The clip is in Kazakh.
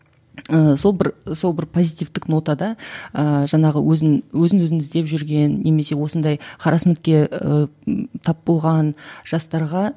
ыыы сол бір сол бір позитивтік нотада ыыы жаңағы өзін өзін өзін іздеп жүрген немесе осындай тап болған жастарға